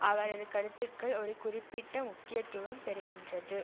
அவரது கருத்துக்கள் ஒரு குறிப்பிட்ட முக்கியத்துவம் பெறுகின்றது